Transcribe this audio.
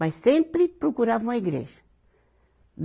Mas sempre procurava uma igreja.